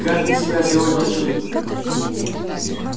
как ты себя сегодня чувствуешь